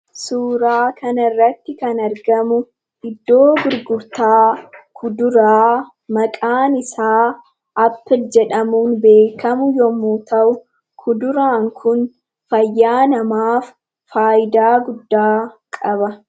Suuraa kana irratti kan argamu, iddoo gurgurtaa kuduraa maqaan isaa Appilii jedhamuun beekamu yemmuu ta'u, kuduraan Kun fayyaa namaaf fayidaa guddaa qaba.